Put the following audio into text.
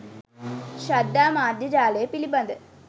ශ්‍රද්ධා මාධ්‍ය ජාලය පිළිබඳ